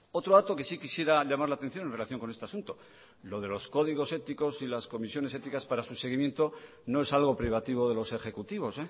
otro dato que sí quisiera llamar la atención en relación con este asunto lo de los códigos éticos y las comisiones éticas para su seguimiento no es algo privativo de los ejecutivos